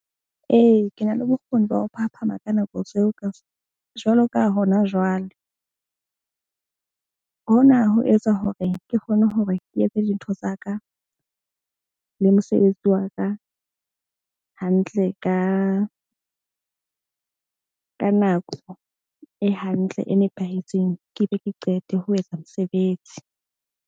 Ee, ke na le bokgoni ba ho phaphama ka nako tseo, ka jwalo ka hona jwale. Hona ho etsa hore ke kgone hore ke etse dintho tsa ka le mosebetsi wa ka hantle ka nako e hantle e nepahetseng, ke be ke qete ho etsa mosebetsi.